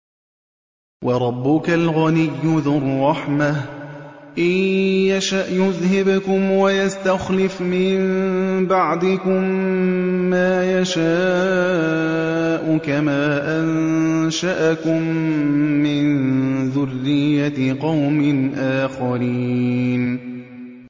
وَرَبُّكَ الْغَنِيُّ ذُو الرَّحْمَةِ ۚ إِن يَشَأْ يُذْهِبْكُمْ وَيَسْتَخْلِفْ مِن بَعْدِكُم مَّا يَشَاءُ كَمَا أَنشَأَكُم مِّن ذُرِّيَّةِ قَوْمٍ آخَرِينَ